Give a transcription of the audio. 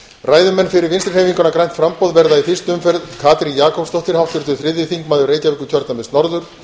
ræðumenn fyrir vinstri hreyfinguna grænt framboð verða í fyrstu umferð katrín jakobsdóttir háttvirtur þriðji þingmaður reykjavíkurkjördæmis norður